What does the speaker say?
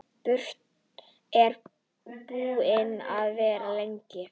Ertu búin að vera lengi?